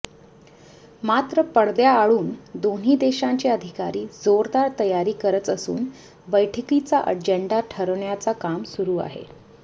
मात्र पडद्याआडून दोन्ही देशांचे अधिकारी जोरदार तयारी करच असून बैठकीचा अजेंडा ठरवण्याचं काम सुरू आहे